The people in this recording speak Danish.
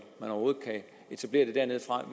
man overhovedet kan etablere det dernedefra